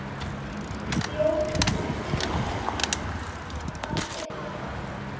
Jóhanna Margrét Gísladóttir: Fannstu eitthvað gott?